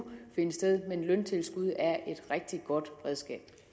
finde sted men løntilskud er et rigtig godt redskab